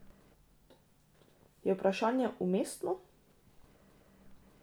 Je vprašanje umestno?